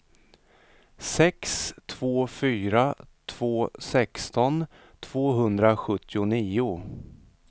sex två fyra två sexton tvåhundrasjuttionio